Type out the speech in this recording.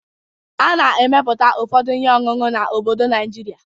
A na-emeputa ụfọdụ ihe ọṅụṅụ n'obodo Najịrịa.